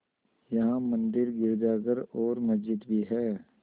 यहाँ मंदिर गिरजाघर और मस्जिद भी हैं